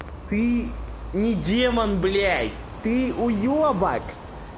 ты не демон блядь ты уёбок